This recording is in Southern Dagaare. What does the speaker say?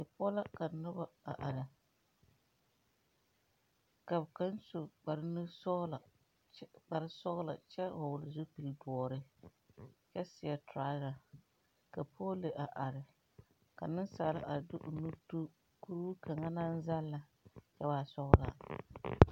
Poɔ la ka noba are, ka kaŋ su kparre nu sɔglo kpare sɔglo kyɛ vɔgle zupele dɔre kyɛ seɛ treasure ka pɔɔli a are ka nensaala di o nu tu kuri kaŋ naŋ zaŋlaa a waa sɔglaa.